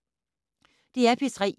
DR P3